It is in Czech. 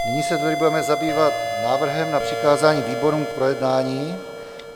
Nyní se tedy budeme zabývat návrhem na přikázání výborům k projednání.